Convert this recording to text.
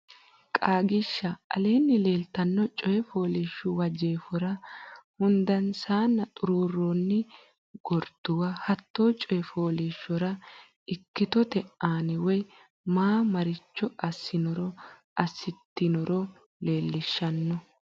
Qaagiishsha Aleenni leeltanno coy fooliishshuwa jeefora hundansa xuruurroonni gurduwa hatte coy fooliishshora ikkitote anni woy ama maricho assinoro assitinoro leellishshanno.